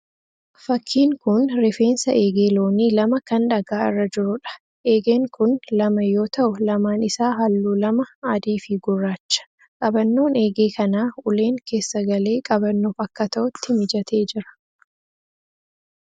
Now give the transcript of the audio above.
Fakkiin kun rifeensa eegee loonii lama kan dhagaa irra jiruudha. Eegeen kun lama yoo ta'u lamaan isaa halluu lama, adii fi gurraacha. Qabannoon eegee kanaa uleen keessa galee qabannoof akka ta'utti mijatee jira.